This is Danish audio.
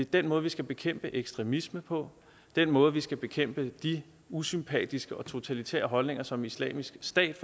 den måde vi skal bekæmpe ekstremisme på den måde vi skal bekæmpe de usympatiske og totalitære holdninger som islamisk stat